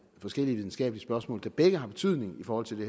forskellige videnskabelige spørgsmål der begge har betydning i forhold til